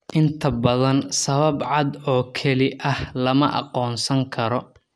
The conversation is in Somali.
Inta badan, sabab cad oo keli ah lama aqoonsan karo.